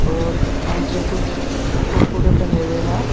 और नीचे कुछ कुरकुरे टंगे हुए हैं।